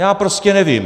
Já prostě nevím.